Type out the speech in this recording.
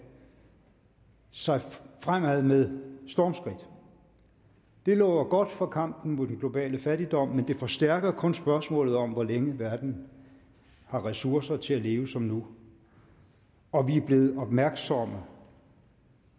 sig fremad med stormskridt det lover godt for kampen mod den globale fattigdom men det forstærker kun spørgsmålet om hvor længe verden har ressourcer til at leve som nu og vi er blevet opmærksomme